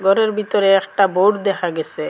ঘরের ভিতরে একটা বোর্ড দেখা গেসে।